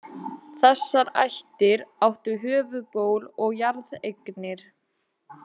Þessar ættir áttu höfuðból og jarðeignir.